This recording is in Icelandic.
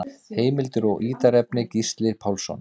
Heimildir og ítarefni: Gísli Pálsson.